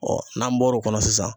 n'an bɔro kɔnɔ sisan